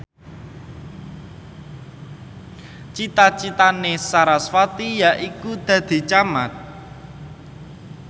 cita citane sarasvati yaiku dadi camat